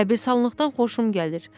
Qəbristanlıqdan xoşum gəlir.